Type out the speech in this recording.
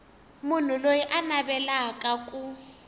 munhu loyi a navelaka ku